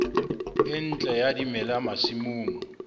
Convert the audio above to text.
e ntle ya dimela masimong